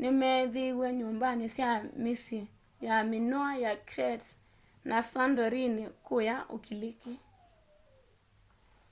nĩmethĩĩwe nyumbanĩ sya mĩsyĩ ya minoa ya crete na santorini kũya ũkiliki